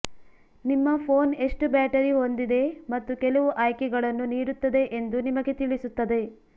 ನಿಮ್ಮ ಫೋನ್ ಎಷ್ಟು ಬ್ಯಾಟರಿ ಹೊಂದಿದೆ ಮತ್ತು ಕೆಲವು ಆಯ್ಕೆಗಳನ್ನು ನೀಡುತ್ತದೆ ಎಂದು ನಿಮಗೆ ತಿಳಿಸುತ್ತದೆ